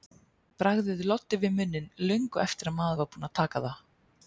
Bragðið loddi við munninn löngu eftir að maður var búinn að taka það.